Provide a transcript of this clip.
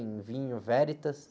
Em vinho.